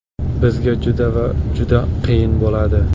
Bizga juda va juda qiyin bo‘ladi.